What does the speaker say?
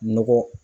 Nɔgɔ